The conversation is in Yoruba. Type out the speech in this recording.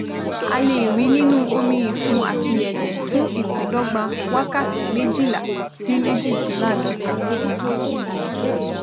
A lè rí i nínú omi-ìfun àti ẹ̀jẹ̀ fún ìpíndọ́gba wákàtí méjìlá sí méjìdínláàádọ́ta